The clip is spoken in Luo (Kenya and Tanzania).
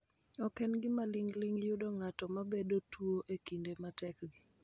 Ok en gima ling�ling� yudo ng�ato ma bedo tuo e kinde matekgi,